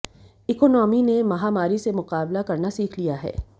economy ने महामारी से मुकाबला करना सीख लिया है